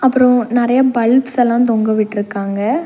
அப்றோ நிறைய பல்ப்ஸ்லா தொங்க விட்டுருக்காங்க.